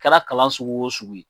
Kɛra kalan sugu o sugu ye.